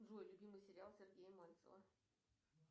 джой любимый сериал сергея мальцева